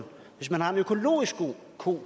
kort